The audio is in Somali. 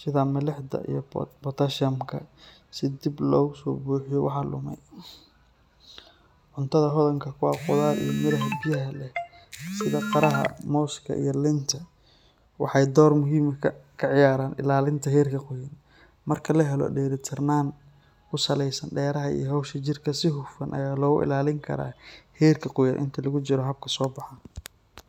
sida milixda iyo potassium-ka si dib loogu buuxiyo waxa lumay. Cuntada hodanka ku ah khudaar iyo miraha biyaha leh sida qaraha, mooska iyo liinta waxay door weyn ka ciyaaraan ilaalinta heerka qoyaan. Marka la helo dheelitirnaan ku saleysan dareeraha iyo hawsha jirka, si hufan ayaa loogu ilaalin karaa heerka qoyaan inta lagu jiro habka soobaxa.